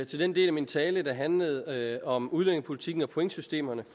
til den del af min tale der handlede om udlændingepolitikken og pointsystemerne